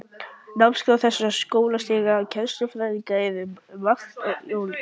Námskrá þessara skólastiga og kennsluaðferðirnar eru um margt ólíkar.